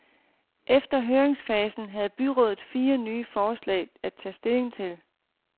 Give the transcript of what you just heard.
Efter høringsfasen havde byrådet fire nye forslag at tage stilling til.